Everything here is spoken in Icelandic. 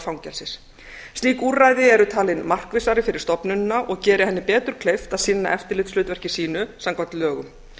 fangelsis slík úrræði eru talin markvissari fyrir stofnunina og gerir henni betur kleift að sinna eftirlitshlutverki sínu samkvæmt lögum